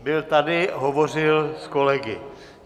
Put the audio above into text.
Byl tady, hovořil s kolegy.